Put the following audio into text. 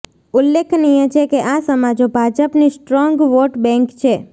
ઉલ્લેખનીય છે કે આ સમાજો ભાજપની સ્ટ્રોન્ગ વોટ બેન્ક છે